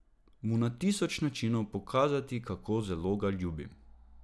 Mu na tisoč načinov pokazati, kako zelo ga ljubim.